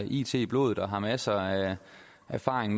it i blodet og har masser af erfaring